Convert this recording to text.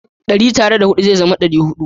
Dari tare da hudu ze zama ɗari-hudu